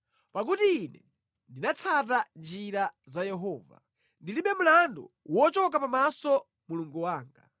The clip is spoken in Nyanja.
Pakuti ine ndinatsata njira za Yehova; ndilibe mlandu wochoka pamaso Mulungu wanga.